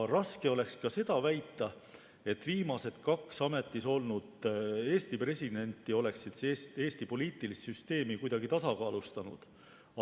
Raske oleks väita ka seda, et viimased kaks ametis olnud Eesti presidenti oleksid Eesti poliitilist süsteemi kuidagi tasakaalustanud.